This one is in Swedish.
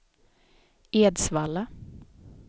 Edsvalla